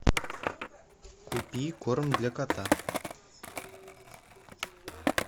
купи корм для кота